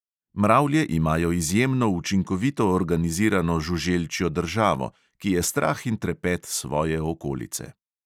Mravlje imajo izjemno učinkovito organizirano žuželčjo državo, ki je strah in trepet svoje okolice.